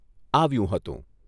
આવ્યું હતું.